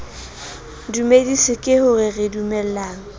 dumedise ka ho re dumelang